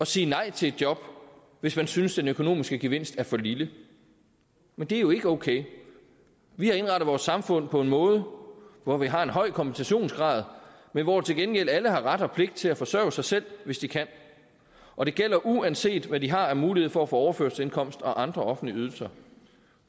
sige nej til et job hvis man synes at den økonomiske gevinst er for lille men det er jo ikke okay vi har indrettet vores samfund på en måde hvor vi har en høj kompensationsgrad at hvor til gengæld alle har ret og pligt til at forsørge sig selv hvis de kan og det gælder uanset hvad de har af mulighed for at få overførselsindkomst og andre offentlige ydelser